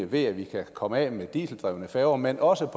ved at vi kunne komme af med dieseldrevne færger men også